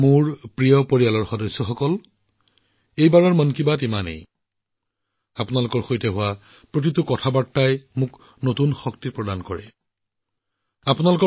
মোৰ মৰমৰ পৰিয়ালৰ সদস্যসকল এইবাৰ মন কী বাত ইমানেই আপোনালোকৰ লগত হোৱা প্ৰতিটো যোগাযোগে মোক নতুন শক্তিৰে ভৰাই তোলে